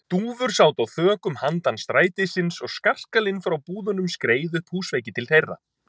Dúfur sátu á þökum handan strætisins, og skarkalinn frá búðunum skreið upp húsveggi til þeirra.